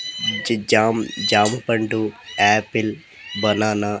G జామ్ జాంపండు apple banana --